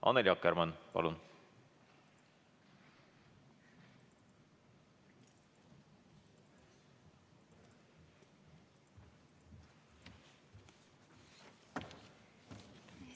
Annely Akkermann, palun!